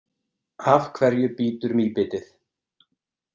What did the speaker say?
Af hverju bítur mýbitið?